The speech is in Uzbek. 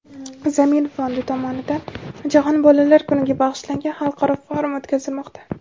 "Zamin" fondi tomonidan Jahon bolalar kuniga bag‘ishlangan xalqaro forum o‘tkazilmoqda.